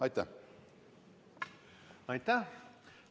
Aitäh!